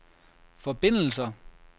forbindelser